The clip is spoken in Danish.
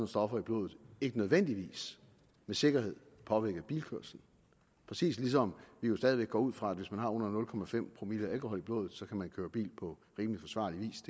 stoffer i blodet ikke nødvendigvis med sikkerhed påvirker bilkørslen præcis ligesom vi jo stadig væk går ud fra at hvis man har under nul promille alkohol i blodet så kan man køre bil på rimelig forsvarlig vis